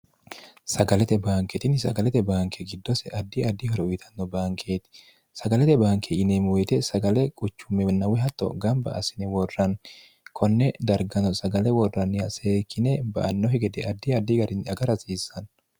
sagalete baankeetinni sagalete baanke giddose addi addi horo uyitanno baankeeti sagalete baanke yinemuyite sagale quchumwhatto gamba assini worranni konne dargano sagale worranniya see kine ba annohi gede addi addi garin aga rasiissanno